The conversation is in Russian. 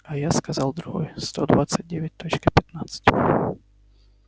а я сказал другой сто двадцать девять точка пятнадцать